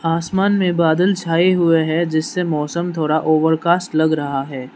आसमान में बादल छाए हुए हैं जिससे मौसम थोड़ा ओवरकास्ट लग रहा है।